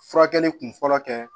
Furakɛli kun fɔlɔ kɛ